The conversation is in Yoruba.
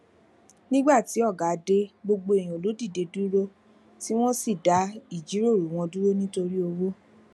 nígbà tí ọga dé gbogbo èèyàn ló dìde dúró tí wón sì dá ìjíròrò wọn dúró nítorí òwò